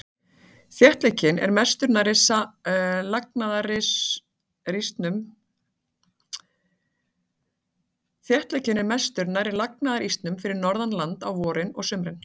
Þéttleikinn er mestur nærri lagnaðarísnum fyrir norðan land á vorin og sumrin.